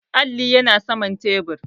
Alli yana saman tebur